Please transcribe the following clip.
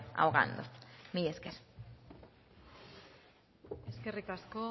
ahogando mila esker eskerrik asko